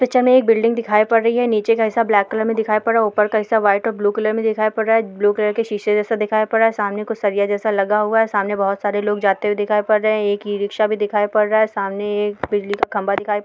picture में एक building दिखाई पड़ रही हैं नीचे का हिस्सा ब्लैक कलर में दिखाई पड़ रहा हैं ऊपर का हिस्सा व्हाइट और ब्लू कलर में दिखाई पड़ रहा हैं ब्लू कलर के शीशे जैसा दिखाई पड़ रहा हैं सामने कुछ सरिया जैसा लगा हुआ है सामने बहुत सारे लोग जाते हुए दिखाई पड़ रहे हैंएक इ रिक्शा भी दिखाई पड़ रहा हैं सामने एक बिल्डिंग का खम्भा दिखाई--